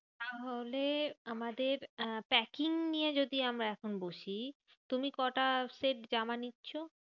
তাহলে আমাদের আহ packing নিয়ে যদি আমরা এখন বসি, তুমি কটা set জামা নিচ্ছো?